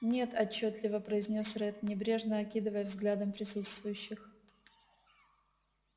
нет отчётливо произнёс ретт небрежно окидывая взглядом присутствующих